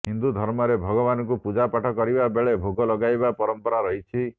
ହିନ୍ଦୁଧର୍ମରେ ଭଗବାନଙ୍କୁ ପୂଜାପାଠ କରିବା ବେଳେ ଭୋଗ ଲଗାଇବାର ପରମ୍ପରା ରହିଛି